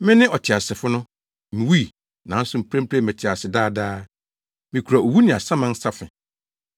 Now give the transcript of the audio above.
Mene ɔteasefo no! Miwui, nanso mprempren mete ase daa daa. Mikura owu ne asaman safe.